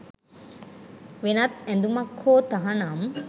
වෙනත් ඇඳුමක් හෝ තහනම්